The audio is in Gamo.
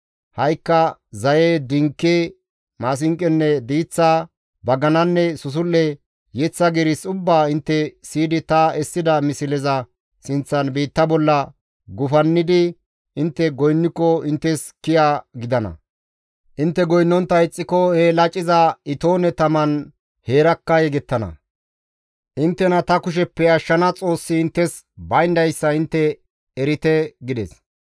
Ha7ikka zaye, dinke, maasinqonne diiththa, bagananne susul7e, yeththa giiris ubbaa intte siyidi ta essida misleza sinththan biitta bolla gufannidi intte goynniko inttes kiya gidana; intte goynnontta ixxiko he laciza itoone taman heerakka yegettana; inttena ta kusheppe ashshana Xoossi inttes bayndayssa intte erite!» gides.